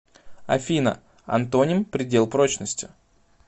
афина антоним предел прочности